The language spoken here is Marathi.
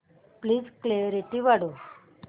प्लीज क्ल्यारीटी वाढव